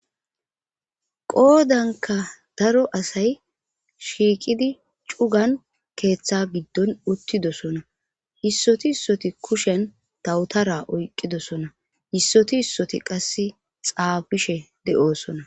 qoodanka daro asay shiiqidi cugan keeththa giddon uttidosona hissoti issoti kushen tawutara oyqqidosona hissoti hissoti qasse xaabishe de7oosona